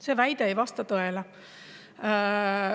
See ei vasta tõele.